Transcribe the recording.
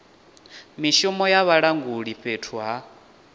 mishumo ya vhalanguli fhethu ha